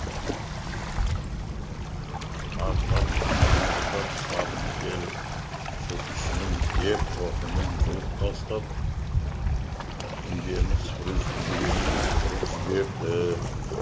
артынан арсылдап садық келіп жылқышының ер тоқымын жұлып тастап жүгенін сыпырып жіберді